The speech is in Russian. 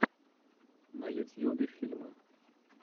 на ютьюбе фильмы